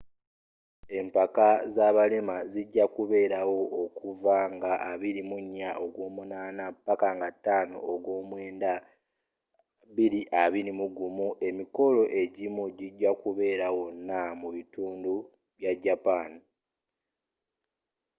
empaka zabalema zijja kubeerawo okuva nga 24 ogw'omunaana paka nga 5 ogw'omwenda 2021 emikolo ejimu jijja kubeerawonna mubitundu by'ajapan